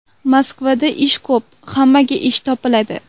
Moskvada ish ko‘p, hammaga ish topiladi.